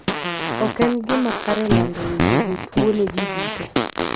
Ok en gima kare lando weche jotuwo ne ji duto.